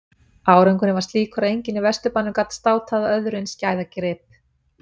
Árangurinn var slíkur að enginn í Vesturbænum gat státað af öðrum eins gæðagrip.